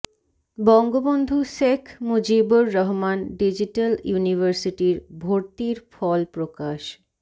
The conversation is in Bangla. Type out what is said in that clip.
বঙ্গবন্ধু শেখ মুজিবুর রহমান ডিজিটাল ইউনিভার্সিটির ভর্তির ফল প্রকাশ